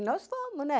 E nós fomos, né?